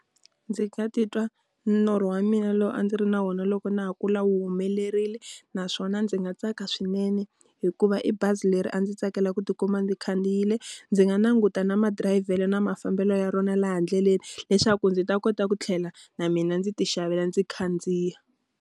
Ndzi nga titwa norho wa mina lowu a ndzi ri na wona loko na ha kula wu humelerile. Naswona ndzi nga tsaka swinene hikuva i bazi leri a ndzi tsakela ku ti kuma ndzi khandziyile. Ndzi nga languta na madirayivhelo na mafambelo ya rona laha ndleleni, leswaku ndzi ta kota ku tlhela na mina ndzi ti xavela ndzi khandziya.